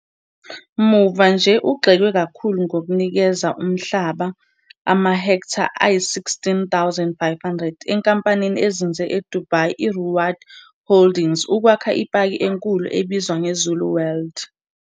Muva nje ugxekwe kakhulu ngokunikeza umhlaba amahektha ayi-16 500 enkampanini ezinze eDubai iRuwaad Holdings ukwakha ipaki enkulu ebizwa nge 'Zulu World'.